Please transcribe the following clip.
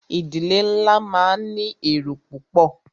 Ìdílé nlá máà ní èrò púpọ̀.